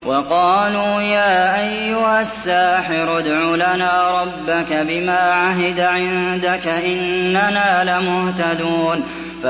وَقَالُوا يَا أَيُّهَ السَّاحِرُ ادْعُ لَنَا رَبَّكَ بِمَا عَهِدَ عِندَكَ إِنَّنَا لَمُهْتَدُونَ